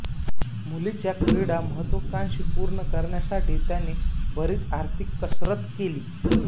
मुलीच्या क्रीडा महत्त्वाकांक्षा पूर्ण करण्यासाठी त्यांनी बरीच आर्थिक कसरत केली